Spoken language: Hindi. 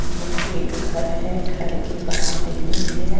यह एक घर है घर के बाहर रेलिंग है।